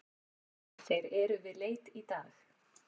Þeir eru við leit í dag.